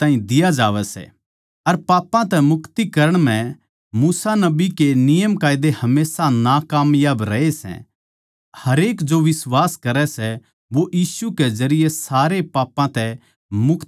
अर जिन बात्तां म्ह थम मूसा नबी के नियमकायदे के जरिये बेकसूर कोनी ठैहर सको थे जो बिश्वास करै सै वो सारे पापां तै मुक्त करया जावै सै